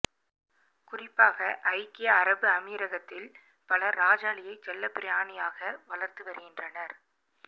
குறிப்பாக ஐக்கிய அரபு அமீரகத்தில் பலர் ராஜாளியை செல்லப்பிராணியாக வளர்த்து வருகின்றனர்